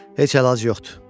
Heç əlac yoxdur.